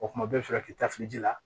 O kuma bɛɛ bɛ fɛ ka k'i ta fili ji la